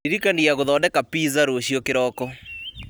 ndirikania gũthondeka pizza rũciũ kĩroko